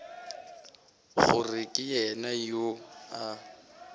gore ke yena yo a